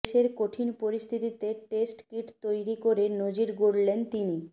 দেশের কঠিন পরিস্থিতিতে টেস্ট কিট তৈরি করে নজির গড়লেন তিনি